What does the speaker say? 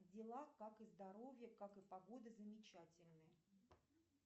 дела как и здоровье как и погода замечательные